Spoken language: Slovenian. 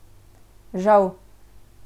Žal.